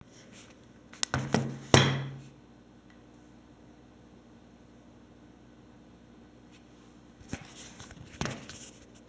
елімізде өндірістік нысандар саны артқандықтан жұмыс орындарындағы оқыс жағдайлар жиілеп кеткен осыған орай өнеркәсіптік қауіпсіздік комитеті зауыттар мен ірі кәсіпорындардағы тексерістерді